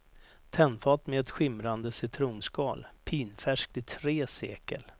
Tennfat med ett skimrande citronskal, pinfärskt i tre sekel.